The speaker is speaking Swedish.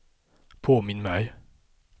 påminn mig